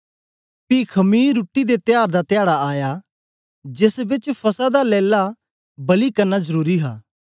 पी खमीर रुट्टी दे त्यार दा धयाडा आया जेस बेच फसह दा लैला बलि करना जरुरी हा